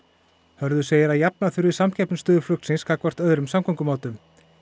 Hörður segir að jafna þurfi samkeppnisstöðu flugsins gagnvart öðrum samgöngumátum